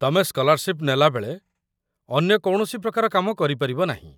ତମେ ସ୍କଲାର୍‌ସିପ୍‌ ନେଲାବେଳେ ଅନ୍ୟ କୌଣସି ପ୍ରକାର କାମ କରିପାରିବ ନାହିଁ